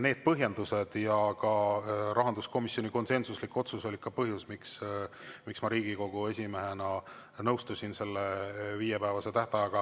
Need põhjendused ja ka rahanduskomisjoni konsensuslik otsus olid põhjus, miks ma Riigikogu esimehena nõustusin selle viiepäevase tähtajaga.